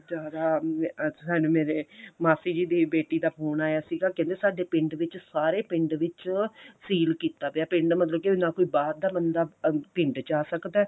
ਜ਼ਿਆਦਾ ਮੈਂ ਸਨ ਸਾਨੂੰ ਮੇਰੇ ਮਾਸੀ ਜੀ ਦੀ ਬੇਟੀ ਦਾ ਫੋਨ ਆਇਆ ਸੀਗਾ ਕਹਿੰਦੇ ਸਾਡੇ ਪਿੰਡ ਵਿੱਚ ਸਾਰੇ ਪਿੰਡ ਵਿੱਚ ਸੀਲ ਕੀਤਾ ਗਿਆ ਪਿੰਡ ਮਤਲਬ ਕੀ ਨਾ ਕੋਈ ਬਾਹਰ ਦਾ ਬੰਦਾ ਪਿੰਡ ਚ ਆ ਸਕਦਾ